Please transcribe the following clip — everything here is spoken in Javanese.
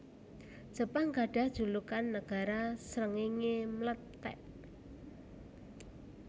Jepang gadhah julukan Nagara Srengéngé Mlethèk